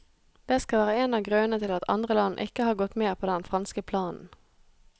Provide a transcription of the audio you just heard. Det skal være en av grunnene til at andre land ikke har gått med på den franske planen.